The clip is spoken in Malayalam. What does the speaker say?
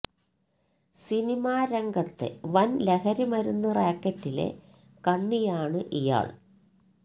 സിനിമാ രംഗത്തെ വന് ലഹരി മരുന്ന് റാക്കറ്റിലെ കണ്ണിയാണ് ഇയാള്